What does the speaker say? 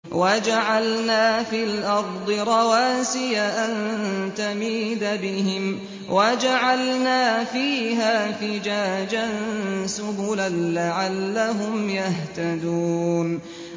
وَجَعَلْنَا فِي الْأَرْضِ رَوَاسِيَ أَن تَمِيدَ بِهِمْ وَجَعَلْنَا فِيهَا فِجَاجًا سُبُلًا لَّعَلَّهُمْ يَهْتَدُونَ